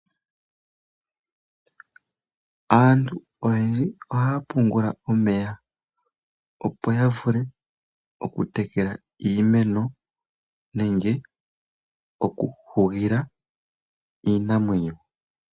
Aantu oyendji ohaya pungula omeya opo ya vule oku tekela iimeno nenge oku hugila iimuna.